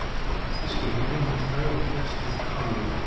Þýski herinn minnkaður og herskylda aflögð